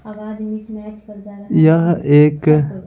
यह एक--